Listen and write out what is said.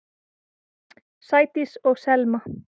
Sædís og Selma.